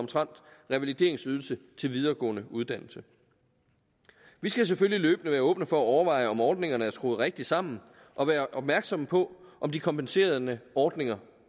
revalideringsydelse til videregående uddannelse vi skal selvfølgelig løbende være åbne for at overveje om ordningerne er skruet rigtigt sammen og være opmærksomme på om de kompenserende ordninger